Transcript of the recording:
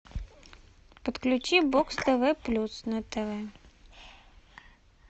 подключи бокс тв плюс на тв